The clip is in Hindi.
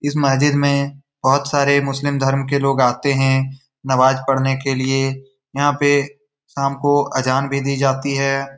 इस मस्जिद में बहुत सारे मुस्लिम धर्म के लोग आते हैं नमाज पढ़ने के लिए यहां पर शाम को अजान भी दी जाती है।